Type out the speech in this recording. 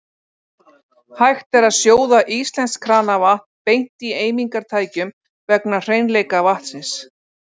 Hægt er að sjóða íslenskt kranavatn beint í eimingartækjum vegna hreinleika vatnsins.